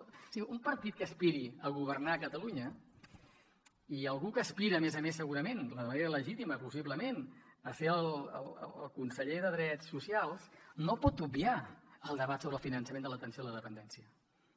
o sigui un partit que aspiri a governar catalunya i algú que aspira a més a més segurament de manera legítima possiblement a ser el conseller de drets socials no pot obviar el debat sobre el finançament de l’atenció a la dependència